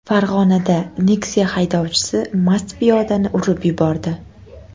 Farg‘onada Nexia haydovchisi mast piyodani urib yubordi.